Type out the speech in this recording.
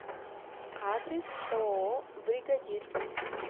адрес ооо бригадир